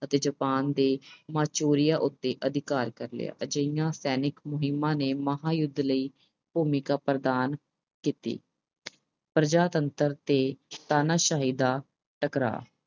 ਅਤੇ Japan ਦੇ Manchuria ਉੱਤੇ ਅਧਿਕਾਰ ਕਰ ਲਿਆ। ਅਜਿਹੀਆਂ ਸੈਨਿਕ ਮੁਹਿੰਮਾਂ ਨੇ ਮਹਾਂਯੁੱਧ ਲਈ ਭੂਮਿਕਾ ਪ੍ਰਦਾਨ ਕੀਤੀ। ਪ੍ਰਜਾਤੰਤਰ ਤੇ ਤਾਨਾਸ਼ਾਹੀ ਦਾ ਟਕਰਾਅ